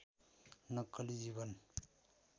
नक्कली जीवन